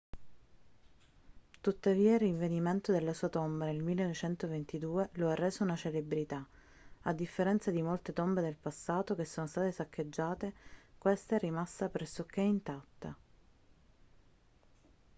tuttavia il rinvenimento della sua tomba nel 1922 lo ha reso una celebrità a differenza di molte tombe del passato che sono state saccheggiate questa è rimasta pressoché intatta